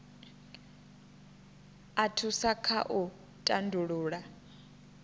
a thusa kha u tandulula